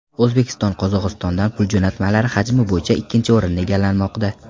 O‘zbekiston Qozog‘istondan pul jo‘natmalari hajmi bo‘yicha ikkinchi o‘rinni egallamoqda.